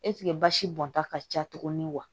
ɛsike basi bɔnta ka ca tuguni wa